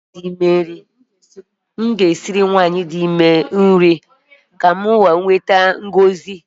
M ga-esiri nwanyị dị ime iji nweta ngọzi